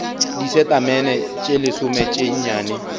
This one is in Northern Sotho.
disetamene tše lesome tše nnyane